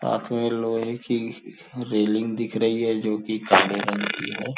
हाथ में लोहे की रेलिंग दिख रही है जो कि काले रंग की है।